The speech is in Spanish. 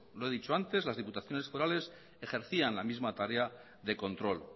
lo he dicho antes las diputaciones forales ejercían la misma tarea de control